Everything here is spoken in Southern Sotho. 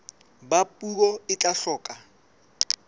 ba puo e tla hloka